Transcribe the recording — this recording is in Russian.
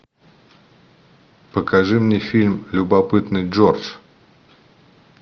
покажи мне фильм любопытный джордж